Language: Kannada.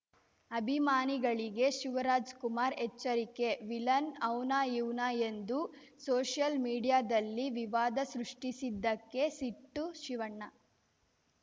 ಅಭಿಮಾನಿಗಳಿಗೆ ಶಿವರಾಜಕುಮಾರ್‌ ಎಚ್ಚರಿಕೆ ವಿಲನ್‌ ಅವ್ನಾ ಇವ್ನಾ ಎಂದು ಸೋಷಿಯಲ್‌ ಮೀಡಿಯಾದಲ್ಲಿ ವಿವಾದ ಸೃಷ್ಟಿಸಿದ್ದಕ್ಕೆ ಸಿಟ್ಟು ಶಿವಣ್ಣ